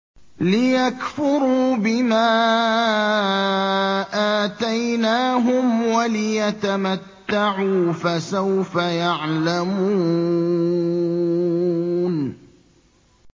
لِيَكْفُرُوا بِمَا آتَيْنَاهُمْ وَلِيَتَمَتَّعُوا ۖ فَسَوْفَ يَعْلَمُونَ